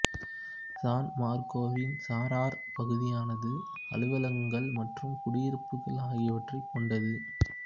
San மார்கோவின் சாரார் பகுதியானது அலுவலகங்கள் மற்றும் குடியிருப்புகள் ஆகியவற்றைக் கொண்டது